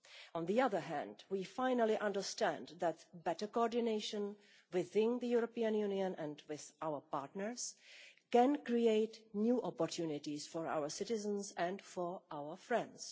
On the other hand, we finally understand that better coordination within the European Union and with our partners can create new opportunities for our citizens and our friends.